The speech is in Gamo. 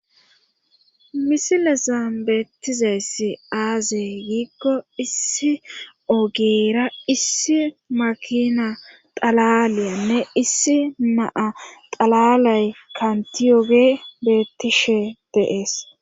Misile sambeettizeyssi aaze giikko issi ogeera issi makina xalaliyanne issi naa xalalay kantiyoge beettishe deees.